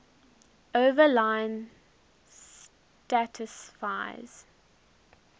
overline satisfies